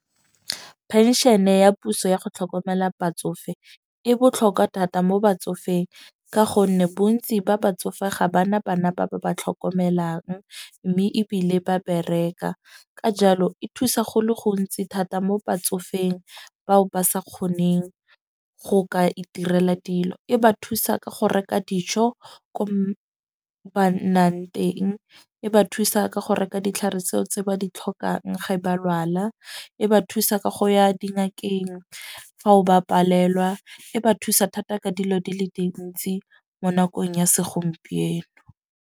Penšene ya puso ya go tlhokomela batsofe e botlhokwa thata mo batsofeng. Ka gonne bontsi ba batsofe ga bana bana ba ba ba tlhokomelang. Mme ebile ba bereka, ka jalo e thusa go le gontsi thata mo batsofeng, bao ba sa kgoneng go ka iterela dilo. E ba thusa ka go reka dijo ko ba nnang teng. E ba thusa ka go reka ditlhare tseo tse ba di tlhokang ga ba lwala. E ba thusa ka go ya dingakeng fa o ba palelwa, e ba thusa thata ka dilo di le dintsi mo nakong ya segompieno.